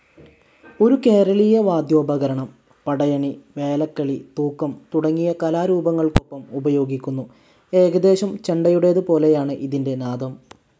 ഒരു കേരളീയ വദ്യോപകരണം. പടയണി, വേലക്കളി, തൂക്കം തുടങ്ങിയ കലാരൂപങ്ങൾക്കൊപ്പം ഉപയോഗിക്കുന്നു. ഏകദേശം ചെണ്ടയുടേത് പോലെയാണ് ഇതിന്റെ നാദം.